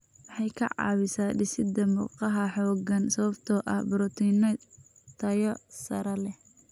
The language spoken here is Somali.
Waxay ka caawisaa dhisidda murqaha xooggan sababtoo ah borotiinno tayo sare leh.